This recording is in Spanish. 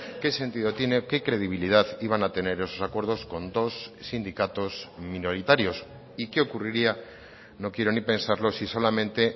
qué sentido tiene qué credibilidad iban a tener esos acuerdos con dos sindicatos minoritarios y qué ocurriría no quiero ni pensarlo si solamente